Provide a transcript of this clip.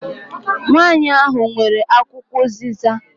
Nwanyi ahụ nwere akwụkwọ uziza.